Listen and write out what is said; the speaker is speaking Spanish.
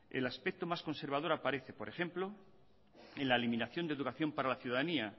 el aspecto más conservador aparece por ejemplo en la eliminación de educación para la ciudadanía